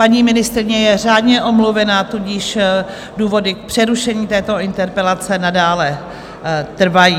Paní ministryně je řádně omluvena, tudíž důvody k přerušení této interpelace nadále trvají.